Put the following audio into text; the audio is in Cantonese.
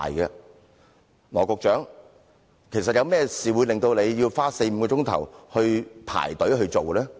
有甚麼事情會令羅局長花四五個小時排隊呢？